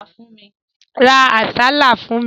Ra àsálà fún mi.